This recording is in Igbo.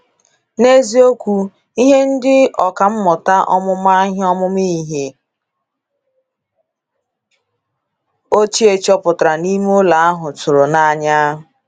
N’eziokwu, ihe ndị ọkà mmụta ọmụma ihe ọmụma ihe ochie chọpụtara n’ime ụlọ ahụ tụrụ n'anya.